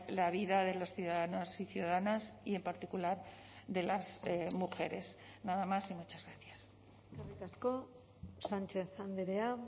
la vida de los ciudadanos y ciudadanas y en particular de las mujeres nada más y muchas gracias eskerrik asko sánchez andrea